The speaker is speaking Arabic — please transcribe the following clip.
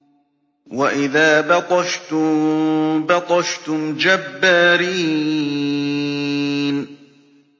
وَإِذَا بَطَشْتُم بَطَشْتُمْ جَبَّارِينَ